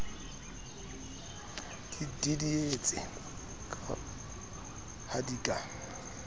di didietse ha di ka